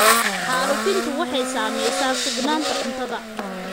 Xaalufintu waxay saamaysaa sugnaanta cuntada.